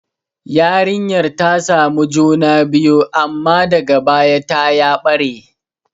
Yarinyar ta samu juna biyu, amma daga baya ta ya ɓare.